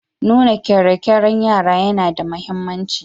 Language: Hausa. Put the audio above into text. Nuna ƙerekeren yara yana da mahimmanci.